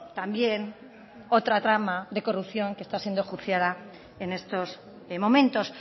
también otra trama de corrupción que está siendo enjuiciada en estos momentos